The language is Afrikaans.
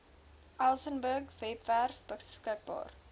elsenburg webwerf beskikbaar